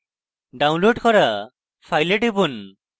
download করা file টিপুন